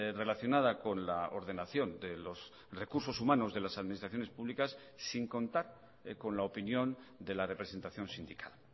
relacionada con la ordenación de los recursos humanos de las administraciones públicas sin contar con la opinión de la representación sindical